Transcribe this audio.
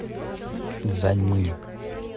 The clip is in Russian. цзянмынь